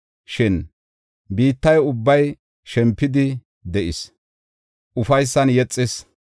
Shin biitta ubbay shempidi de7is; ufaysan yexis.